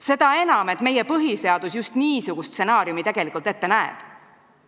Seda enam, et tegelikult meie põhiseadus just niisuguse stsenaariumi ette näeb.